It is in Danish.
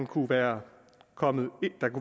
kunne være kommet